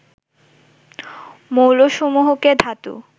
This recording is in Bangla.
মৌলসমূহকে ধাতু